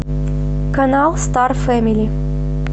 канал стар фэмили